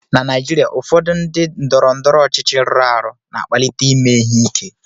Na Naijiria, ụfọdụ ndị ndọrọndọrọ ọchịchị rụrụ arụ na-akpalite ime ihe ike